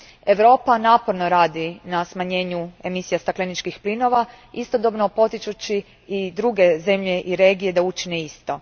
Europa naporno radi na smanjenju emisija stakleničkih plinova, istodobno potičući i druge zemlje i regije da učine isto.